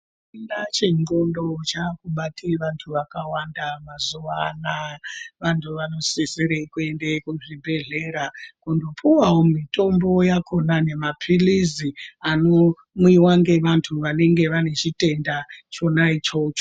Chitenda chendxondo chakubate vantu vakawanda mazuva anaya. Vantu vanosisire kuenda kuzvibhedhlera kundopuvavo mitombo yakona nemaphirizi anomwiva ngevantu vanenge vane zvitenda chona ichocho.